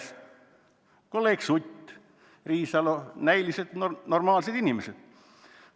" Seda tahavad teada ka kolleegid Sutt ja Riisalo, näiliselt normaalsed inimesed.